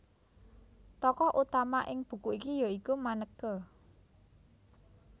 Tokoh utama ing buku iki ya iku Maneke